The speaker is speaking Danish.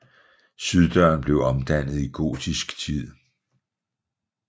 Syddøren blev omdannet i gotisk tid